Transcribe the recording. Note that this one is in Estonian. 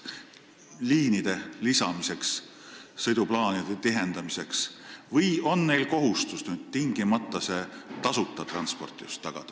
Kas nad saavad seda kasutada näiteks liinide lisamiseks, sõiduplaanide tihendamiseks, või on neil nüüd kohustus tingimata tagada just tasuta transport?